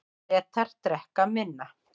Bretar drekka minna